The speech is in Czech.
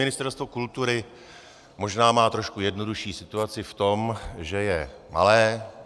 Ministerstvo kultury má možná trošku jednodušší situaci v tom, že je malé.